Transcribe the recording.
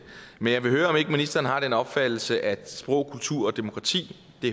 men jeg vil høre om ikke ministeren har den opfattelse at sprog kultur og demokrati